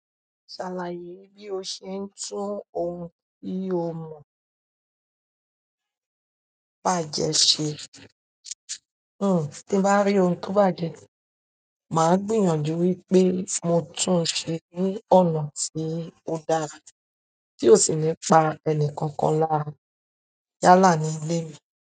Ṣàlàyé bí o ṣe ń tún ohun tí o mọ bàjẹ́ ṣe. Hm ti mo bá rí ohun tó bàjẹ́, màá gbìyànjú wípé mo tún ṣe ní ọ̀nà tí ó dára tí ó sì ní pa ẹni kankan lára yálà nínú ilé mi.